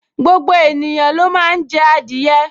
Gbogbo ènìyàn ló máa n jẹ adìẹ